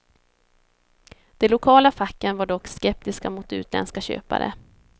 De lokala facken var dock skeptiska mot utländska köpare.